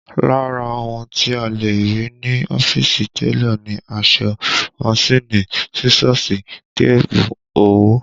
Lára ohun tí a lè rí ní ọ́fíìsì télọ̀ ni aṣọ, manṣíìnì, sísọ́ọ̀sì, tébù, òwú